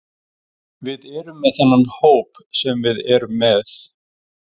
Við erum með þennan hóp sem við erum með.